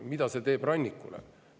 Mida see teeb rannikule?